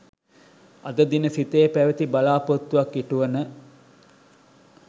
අද දින සිතේ පැවති බලා‍පොරොත්තුවක් ඉටුවන